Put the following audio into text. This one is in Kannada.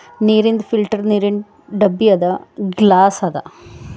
ನಿರೀನ್ ಫಿಲ್ಟರ್ ನೀರಿನ ಡಬ್ಬಿಯದ ಗ್ಲಾಸ್ ಅದ .